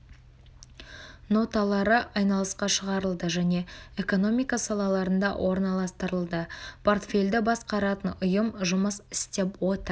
ноталары айналысқа шығарылды және экономика салаларында орналастырылды портфельді басқаратын ұйым жұмыс істеп отыр